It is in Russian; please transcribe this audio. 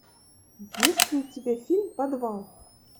есть ли у тебя фильм подвал